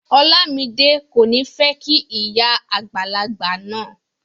Olamide ko ni fẹ kí ìyá àgbàlagbà náà.